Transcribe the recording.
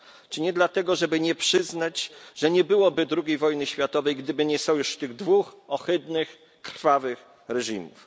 Czy nie dlatego, żeby nie przyznać, że nie byłoby II wojny światowej, gdyby nie sojusz tych dwóch ohydnych, krwawych reżimów.